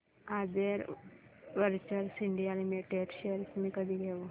आधार ventures India limited shares मी कधी घेऊ